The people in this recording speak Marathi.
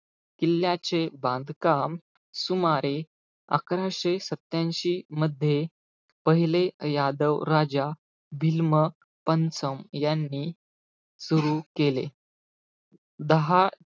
किल्ल्याचे बांधकाम सुमारे, अकराशे सत्यांशी मध्ये पहिले यादव राजा बिल्म पनसं यांनी सुरु केले. दहा,